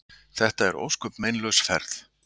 Þetta var ósköp meinlaus ferð.